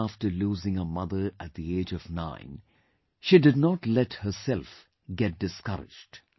Even after losing her mother at the age of 9, she did not let herself get discouraged